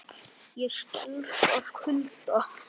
Ég skelf af kulda.